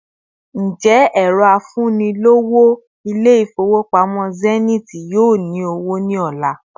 Ǹjẹ́ ẹrọ afunilowo İle-ifowopamo Zenith yóò ní owó ni ola